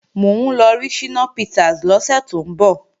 Mò ń lọ rí Ṣínà Peters lọ́sẹ̀ tó ń bọ̀